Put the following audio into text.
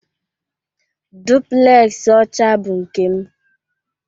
Duplex ọcha bụ nke m